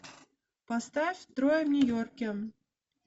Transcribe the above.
поставь трое в нью йорке